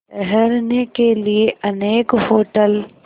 ठहरने के लिए अनेक होटल